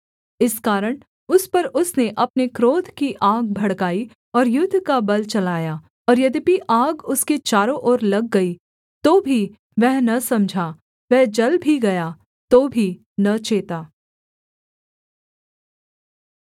इस कारण उस पर उसने अपने क्रोध की आग भड़काई और युद्ध का बल चलाया और यद्यपि आग उसके चारों ओर लग गई तो भी वह न समझा वह जल भी गया तो भी न चेता